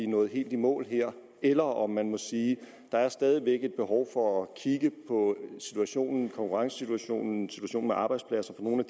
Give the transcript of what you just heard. nået helt i mål eller om man må sige at der stadig væk er et behov for at kigge på konkurrencesituationen og arbejdspladssituationen